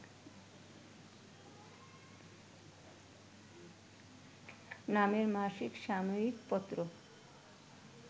নামের মাসিক সাময়িক পত্র